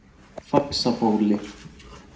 Faxabóli